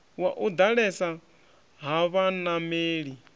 wa u ḓalesa ha vhanameli